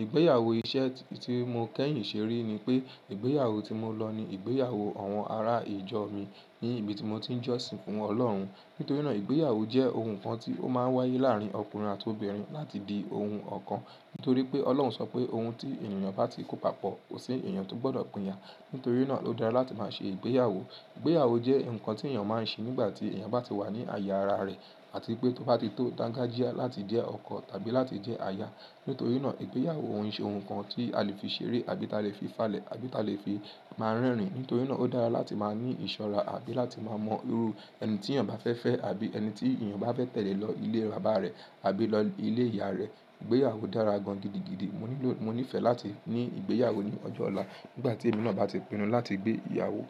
Ìgbéyàwó iṣẹ́ tí mo kẹ́yìn ṣe rí ni pé ìgbéyàwó tí mo lọ ni ìgbéyàwó àwọn ará ìjọ mi ní ibi tí mo ti ń jọ́sìn fún Ọlọ́run. Nítorí náà ìgbéyàwó jẹ́ ohun kan tí ó máa ń wáyé láàárín ọkùnrin àti obìnrin láti di ohun ọ̀kan. Nítorí pé Ọlọ́run sọ pé ohun tí èyàn bá ti kó papọ̀, kò sí èyàn tó gbọ́dọ̀ pínya. Nítorí náà ló dára láti máa ṣe ìgbéyàwó. Ìgbéyàwó jẹ́ nǹkan tí èèyàn máa ń ṣe nígbà tí èèyàn bá ti wà ní àyè ara rẹ̀ àti pé tó bá ti tó dangajia láti jẹ́ ọkọ tàbí láti jẹ́ aya. Nítorí náà ìgbéyàwó o se ohun kan tí a lè fi ṣeré àbí ta lè fi falẹ̀ àbí ta lè fi máa rẹ́rìn-ín. Nítorí náà ó dára láti máa ní ìṣọ́ra àbí láti máa mọ irú ẹni tí èèyàn bá fẹ́ fẹ́ àbí ẹni tí èèyàn bá fẹ́ tẹ̀lé lọ ilé bàbá rẹ̀ àbí lọ ilé ìyá rẹ̀. Ìgbéyàwó dára gan-an gidigidi. Mo ní fẹ́ láti ní ìgbéyàwó ní ọjọ́ ọ̀la nígbà tí èmi náà bá ti pinnu láti gbé ìyàwó.